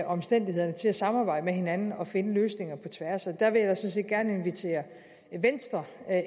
omstændigheder til at samarbejde med hinanden og finde løsninger på tværs og der vil jeg set gerne invitere venstre